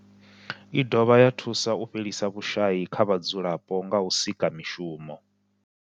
I dovha ya thusa u fhelisa vhushayi kha vhadzulapo nga u sika mishumo.